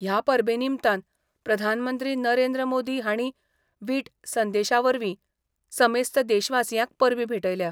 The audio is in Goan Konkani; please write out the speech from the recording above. ह्या परबेनिमतान प्रधानमंत्री नरेंद्र मोदी हाणी विट संदेशावरवी समेस्त देशवासियांक परबी भेटयल्या.